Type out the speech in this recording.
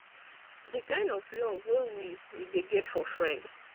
di kind of love wey we we de get for friend